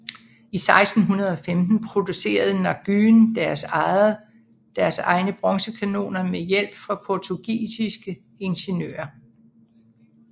I 1615 producerede Nguyễn deres egne bronzekanoner med hjælp fra portugisiske ingeniører